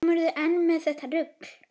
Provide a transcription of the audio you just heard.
Kemurðu enn með þetta rugl!